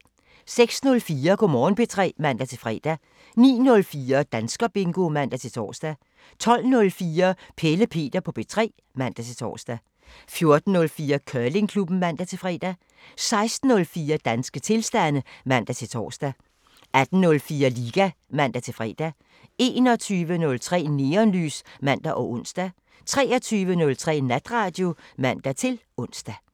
06:04: Go' Morgen P3 (man-fre) 09:04: Danskerbingo (man-tor) 12:04: Pelle Peter på P3 (man-tor) 14:04: Curlingklubben (man-fre) 16:04: Danske tilstande (man-tor) 18:04: Liga (man-fre) 21:03: Neonlys (man og ons) 23:03: Natradio (man-ons)